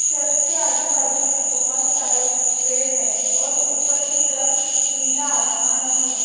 Church के आजुबाजु बहुत सारे पेड़ है और ऊपर की तरफ नीला आसमान भी है।